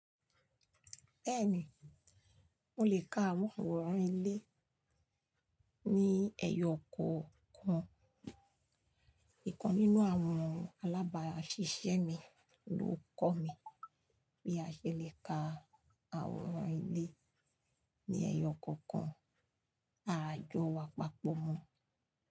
Bẹ́ẹ̀ni, mo lè ka àwọn àwòrán ilé ní ẹyọ kọ̀ kan. Ìkan nínú àwọn alábáṣiṣẹ́ mi ló kọ̀ mí bí a ṣe lè ka àwòrán ilé ní ẹyọ ọkọ̀ kan. Àjọ wa papọ̀ mọ́